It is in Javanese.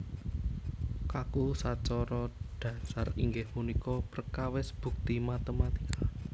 Kaku sacara dhasar inggih punika perkawis bukti matématika